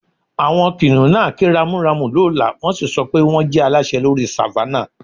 Àwọn kìnnìún náà ké ramúramù lọ́lá, wọ́n sì sọ pé wọ́n jẹ́ aláṣẹ lórí Savannah